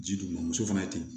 Ji duguma muso fana ye ten